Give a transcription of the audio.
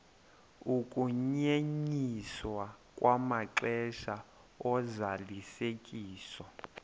ukunyenyiswa kwamaxesha ozalisekiso